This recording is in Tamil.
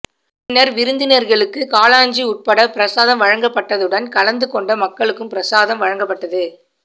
பின்னர் விருந்தினர்களுக்கு காளாஞ்சி உட்பட பிரசாதம் வழங்க பட்டதுடன் கலந்து கொண்ட மக்களுக்கும் பிரசாதம் வழங்க பட்டது